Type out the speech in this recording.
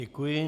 Děkuji.